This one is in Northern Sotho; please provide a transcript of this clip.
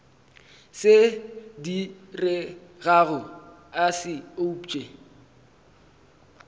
se diregago a se upše